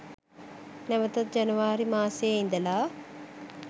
නැවතත් ජනවාරි මාසයේ ඉදලා